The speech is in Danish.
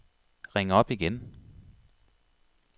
ring op igen